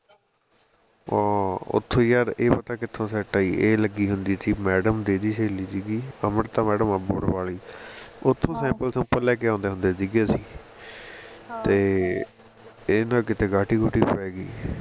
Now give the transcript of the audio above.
ਆਹ ਉਹ ਉਥੇ ਯਾਰ ਇਹ ਪਤਾ ਕਿਥੋਂ set ਆਈ ਇਹ ਲੱਗੀ ਹੁੰਦੀ ਸੀ madam ਤੇ ਇਹ ਦੀ ਸਹੇਲੀ ਸੀ ਗੀ ਅੰਮ੍ਰਿਤਾ madam ਅਮ੍ਰਿਤਸਰ ਵਾਲੀ ਉਥੋਂ sample sample ਲੈ ਕੇ ਆਉਂਦੇ ਹੁੰਦੇ ਸੀ ਗੇ ਅਸੀ ਤੇ ਇਹਦੇ ਨਾਲ ਕੀਤੇ ਗਾਟੀ ਗੁਟੀ ਪੈ ਗਈ